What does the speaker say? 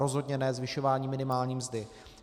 Rozhodně ne zvyšování minimální mzdy.